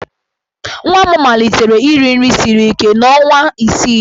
Nwa m malitere iri nri siri ike n'ọnwa isii ya.